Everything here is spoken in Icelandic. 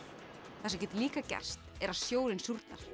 það sem getur líka gerst er að sjórinn súrnar